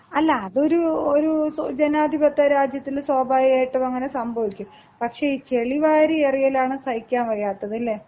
അല്ല അതൊരു ജനാധിപത്യ രാജ്യത്ത് സ്വാഭാവികമായിട്ടും അങ്ങനെ സംഭവിക്കും. പക്ഷേ ഈ ചെളിവാരിയെറിയലാണ് സഹിക്കാൻ കഴിയാത്തത് അല്ലേ?